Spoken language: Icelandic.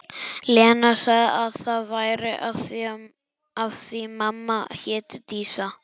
Lena sagði að það væri af því mamma héti Dísa.